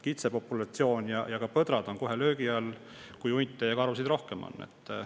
Kitsepopulatsioon ja ka põdrad on kohe löögi all, kui hunte ja karusid on rohkem.